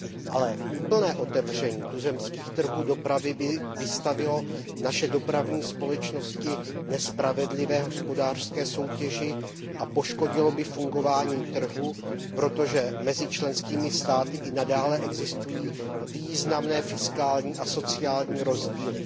Ale úplné otevření tuzemských trhů dopravy by vystavilo naše dopravní společnosti nespravedlivé hospodářské soutěži a poškodilo by fungování trhu, protože mezi členskými státy i nadále existují významné fiskální a sociální rozdíly.